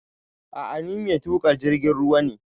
A'a ni mai tuƙa jirgin ruwa ne